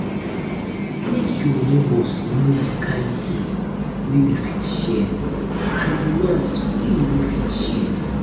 make your neighbors know di kind things wey you fit share and di one wey you no fit share